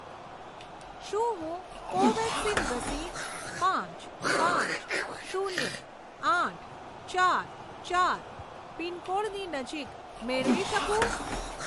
શું હું કોવેક્સિન રસી પાંચ પાંચ શૂન્ય આઠ ચાર ચાર પિનકોડની નજીક મેળવી શકું?